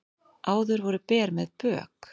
Áður voru ber með bök